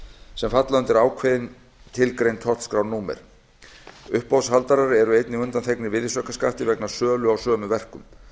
sem falla undir ákveðin tilgreind tollskrárnúmer uppboðshaldarar eru einnig undanþegnir virðisaukaskatti vegna sölu á sömu verkum